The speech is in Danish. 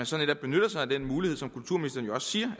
så netop benytte sig af den mulighed som kulturministeren jo også siger